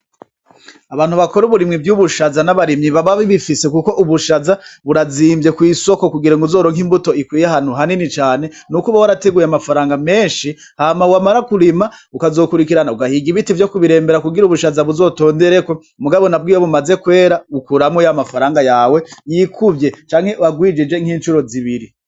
Abantu bakora uburimyi bw'ubushaza n'abarimyi bababibifise, kuko ubushaza burazimvye kw'isoko kugira ngo uzoronka imbuto ikwiye ahantu hanini cane n'uko uba warateguye amafaranga menshi hama wamara kurima ukazokurikirana ugahiga ibiti vyo kubirembera kugira ubushaza buzotondereko mugabo nabwo iyo bumaze kwera ukuramwo y' amafaranga yawe yikuvye canke uwagwijije nk'incuro zibiri.